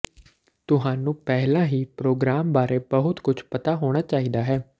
ਤੁਹਾਨੂੰ ਪਹਿਲਾਂ ਹੀ ਪ੍ਰੋਗਰਾਮ ਬਾਰੇ ਬਹੁਤ ਕੁਝ ਪਤਾ ਹੋਣਾ ਚਾਹੀਦਾ ਹੈ